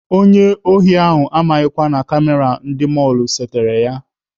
Onye ohi ahụ amaghịkwa na kamera ndị mọlụ setere ya.